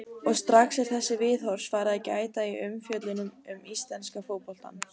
Og strax er þessa viðhorfs farið að gæta í umfjöllun um íslenska fótboltann.